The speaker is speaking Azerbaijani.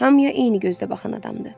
Hamıya eyni gözdə baxan adamdır.